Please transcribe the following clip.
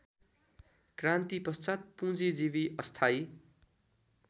क्रान्तिपश्चात् पुँजीजीवी अस्थायी